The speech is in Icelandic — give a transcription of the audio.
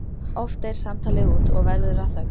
Oft deyr samtalið út og verður að þögn.